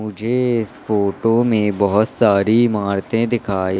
मुझे इस फोटो में बहोत सारी इमारतें दिखाई--